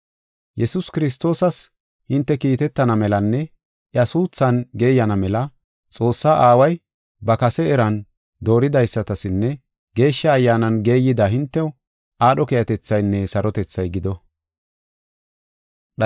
Yesuus Kiristoosas hinte kiitetana melanne iya suuthan geeyana mela, Xoossaa Aaway ba kase eran dooridaysatasinne Geeshsha Ayyaanan geeyida, hintew aadho keehatethaynne sarotethay gido.